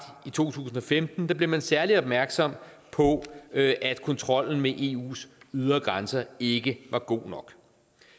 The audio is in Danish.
i to tusind og femten blev man særlig opmærksom på at at kontrollen med eus ydre grænser ikke var god nok